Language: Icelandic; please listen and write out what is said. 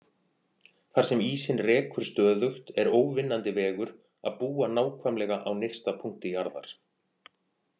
Þar sem ísinn rekur stöðugt er óvinnandi vegur að búa nákvæmlega á nyrsta punkti jarðar.